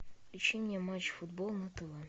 ищи мне матч футбол на тв